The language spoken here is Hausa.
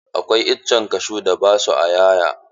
Akwai itacen kashu da ba sua 'ya'ya.